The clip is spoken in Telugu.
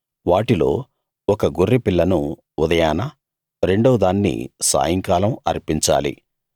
వాటిలో ఒక గొర్రెపిల్లను ఉదయాన రెండోదాన్ని సాయంకాలం అర్పించాలి